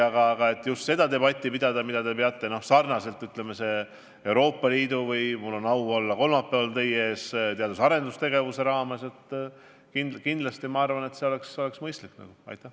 Kindlasti oleks mõistlik ka seda debatti pidada, täpselt nagu on arutatud Euroopa Liidu poliitikat või arutatakse teadus- ja arendustegevuse ülevaadet, millega mul on au olla kolmapäeval teie ees.